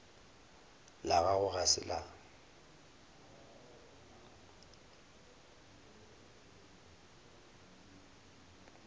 la gago ga se la